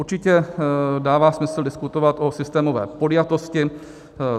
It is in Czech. Určitě dává smysl diskutovat o systémové podjatosti.